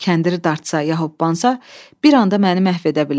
Kəndiri dartsa, yəh hooppansa, bir anda məni məhv edə bilər.